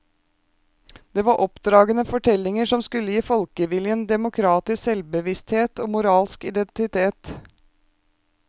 Det var oppdragende fortellinger som skulle gi folkeviljen demokratisk selvbevissthet og moralsk identitet.